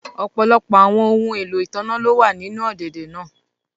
Ọpọlọpọ awọn ohun elo itanna lo wa ninu ọ̀dẹ̀dẹ̀ naa